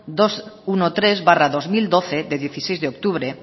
doscientos trece barra dos mil doce de dieciséis de octubre